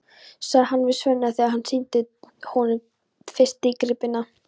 sagði hann við Svenna þegar hann sýndi honum fyrst dýrgripina.